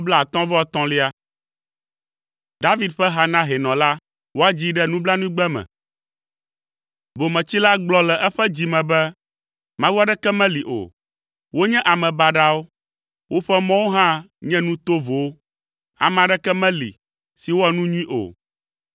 David ƒe ha na hɛnɔ la. Woadzii ɖe nublanuigbe me. Bometsila gblɔ le eƒe dzi me be, “Mawu aɖeke meli o.” Wonye ame baɖawo, woƒe mɔwo hã nye nu tovowo, ame aɖeke meli si wɔa nu nyui o.